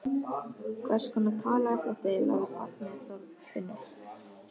Hverskonar tal er þetta eiginlega við barnið Þorfinnur?